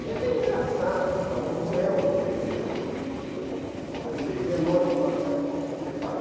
que é até engraçado e tal, mas não é um expediente, ele denota uma certa falta de preparo.